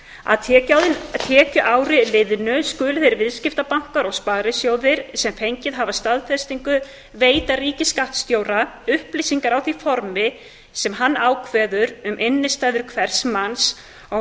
að tekjuári liðnu skulu þeir viðskiptabankar og sparisjóðir sem fengið hafa staðfestingu veita ríkisskattstjóra upplýsingar á því formi sem hann ákveður um innstæður hvers manns á